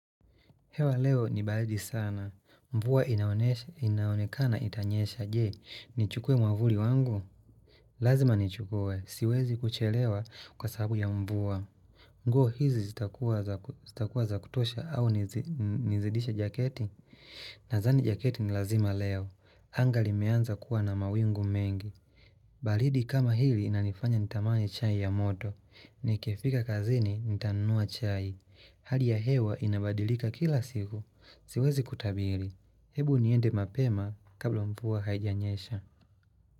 Hewa leo ni baridi sana. Mvua inaonekana itanyesha. Je, ni chukuwe mwavuli wangu? Lazima ni chukwe. Siwezi kuchelewa kwa sababu ya mvua. Nguo hizi zitakuwa za kutosha au nizidishe jaketi? Nadhani jaketi ni lazima leo. Anga limeanza kuwa na mawingu mengi. Baridi kama hili inanifanya nitamani chai ya moto. Nikifika kazini nitanunua chai. Hali ya hewa inabadilika kila siku, siwezi kutabiri. Hebu niende mapema kabla mvua haijanyesha.